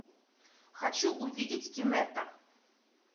хочу увидеть кинетта